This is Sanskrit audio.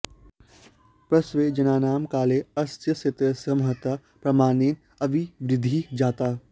पेश्वेजनानां काले अस्य क्षेत्रस्य महता प्रमाणेन अभिवृद्धिः जाता